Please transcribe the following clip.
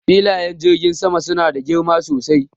Filayen jirgin sama suna da girma sosai.